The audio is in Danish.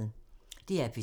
DR P2